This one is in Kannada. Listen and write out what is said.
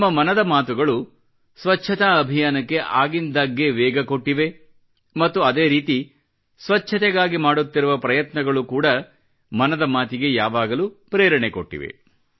ನಮ್ಮ ಮನದ ಮಾತುಗಳು ಸ್ವಚ್ಚತಾ ಅಭಿಯಾನಕ್ಕೆ ಆಗಿಂದಾಗ್ಗೆ ವೇಗ ಕೊಟ್ಟಿವೆ ಮತ್ತು ಅದೇ ರೀತಿ ಸ್ವಚ್ಚತೆಗಾಗಿ ಮಾಡುತ್ತಿರುವ ಪ್ರಯತ್ನಗಳು ಕೂಡ ಮನದ ಮಾತಿಗೆ ಯಾವಾಗಲೂ ಪ್ರೇರಣೆ ಕೊಟ್ಟಿವೆ